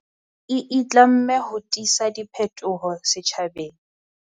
E itlamme ho tisa diphetoho setjhabeng.